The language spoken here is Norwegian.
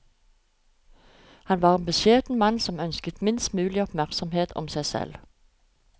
Han var en beskjeden mann som ønsket minst mulig oppmerksomhet om seg selv.